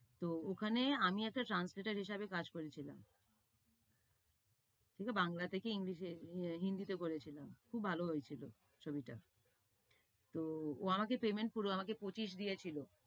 তো ওখানে আমি একটা translater হিসেবে কাজ করেছিলাম। বাংলা থেকে English এ, হিন্দিতে করেছিলাম। খুব ভালো হয়েছিলো ছবিটা। তো ও আমাকে payment পুরো আমাকে পঁচিশ দিয়েছিলো।